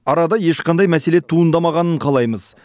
арада ешқандай мәселе туындамағанын қалаймыз